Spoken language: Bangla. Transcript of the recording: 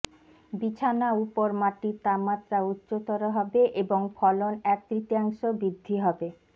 বিছানা উপর মাটির তাপমাত্রা উচ্চতর হবে এবং ফলন এক তৃতীয়াংশ বৃদ্ধি হবে